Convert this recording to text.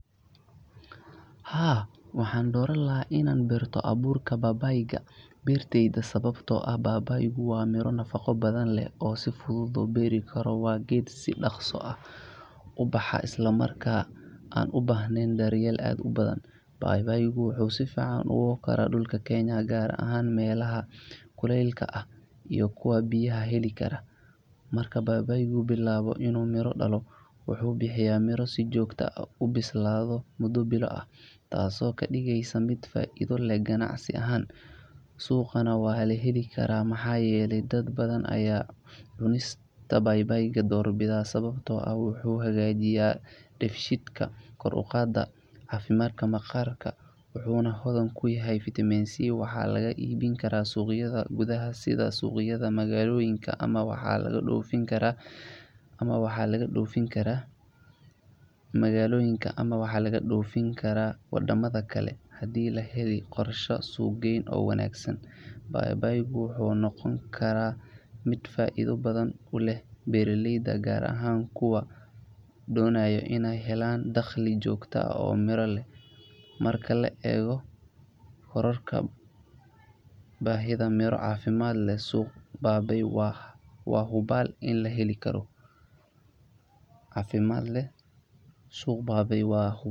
Waxaan doortay inaan barto beerashada baybayka sababtoo ah waa miro nafaqo badan leh, si fududna loo beeri karo. Baybayku waa geed si dhaqso ah ubaxa una baahnayn daryeel badan marka la barbardhigo miraha kale. Geedkan wuxuu si wanaagsan uga baxaa dhulka Kenya, gaar ahaan meelaha leh kuleylka dhexdhexaadka ah iyo kuwa si joogto ah u heli kara biyo. Marka uu baybayku bilaabo inuu miro dhalo, wuxuu si isdaba joog ah u bixiyaa miro muddo bilo ah, taasoo ka dhigaysa geed faa’iido badan leh oo lagu kalsoonaan karo marka la eego joogtaynta wax-soo-saarka. Suuqa gudaha, baybayka si sahlan ayaa looga helaa suuqyada magaalada maadaama dad badan ay doorbidaan. Sababta ayaa ah in baybaygu uu leeyahay faa’iidooyin badan oo caafimaad, sida: • Kor u qaadista dheefshiidka • Hagaajinta caafimaadka maqaarka • Hodantinimada Vitamin C Baybayga waxa kale oo laga iibin karaa suuqyada dibadda haddii la helo qorshe suuq-geyn wanaagsan. Tani waxay ka dhigeysaa baybayga mid faa’iido weyn u leh beeraleyda, gaar ahaan kuwa doonaya inay helaan dakhliga joogtada ah iyo suuq miro caafimaad leh ku saleysan. Marka la eego baahida sii kordhaysa ee miraha caafimaadka leh, suuqgeynta baybayga waa hubaal in ay tahay fursad ganacsi oo muhiim ah.